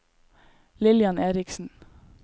Lillian Eriksen